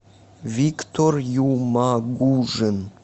виктор юмагужин